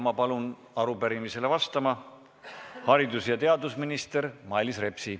Ma palun arupärimisele vastama haridus- ja teadminister Mailis Repsi.